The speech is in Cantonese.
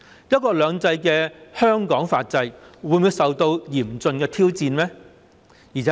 "一國兩制"下的香港法制會否受到嚴峻挑戰呢？